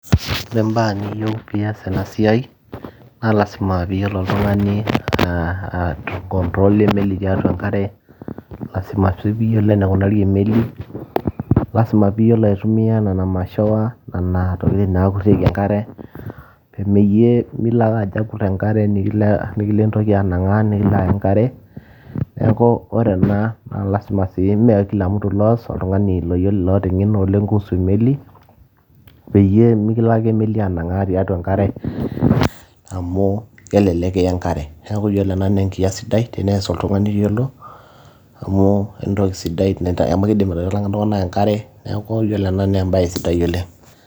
ore imbaa niyieu piyas ena siai naa lasima piiyiolo oltung'ani uh, aekontrola emeli tiatua enkare lasima sii piyiolo enikunari emeli lasima piiyiolo aitumia nena mashowa nena tokitin nakurrieki enkare pemeyie milo ake ajo akurr enkare nikilo entoki anang'aa nikilo aya enkare neeku ore ena na lasima sii mee kila mtu loos oltung'ani loyiolo loota eng'eno oleng kuhusu emeli peyie mikilo ake emeli anang'aa tiatua enkare amu kelelek kiya enkare niaku yiolo ena naa enkias sidai tenees oltung'ani oyiolo amu entoki sidai amu kidim aitalang'a iltung'anak enkare neeku yiolo ena naa embaye sidai oleng.